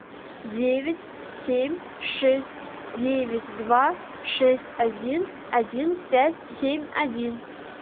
девять семь шесть девять два шесть один один пять семь один